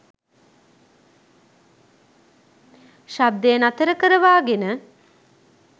ශබ්දය නතර කරවාගෙන